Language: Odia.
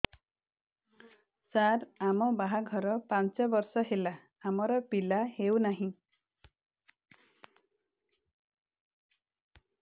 ସାର ଆମ ବାହା ଘର ପାଞ୍ଚ ବର୍ଷ ହେଲା ଆମର ପିଲା ହେଉନାହିଁ